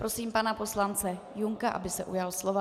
Prosím pana poslance Junka, aby se ujal slova.